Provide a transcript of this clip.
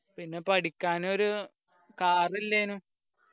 പിന്നെ പഠിക്കാനൊരു car ഇല്ലാനു